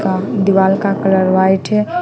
दीवार का colour white है।